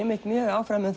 áfram um